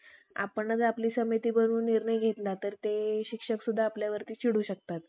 पोकळ प्राकृत ग्रंथ करून. आपल्या मतलबी जातीस, अज्ञानी क्षुद्रास लुटून खाऊ पिऊ खाऊ दिले. परंतु पुढे जेव्हा नित्यान शारात